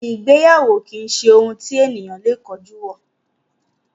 Ìgbéyàwó kìí ṣe ohun tí ènìyàn lè kánjú wọ.